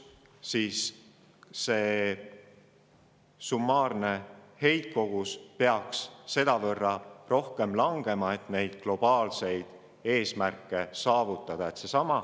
Seal peaks summaarne heitkogus sedavõrd rohkem langema, et neid globaalseid eesmärke saavutada.